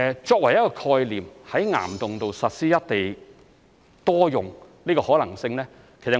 作為一個概念，在岩洞實施"一地多用"的可能性，我們會看看的。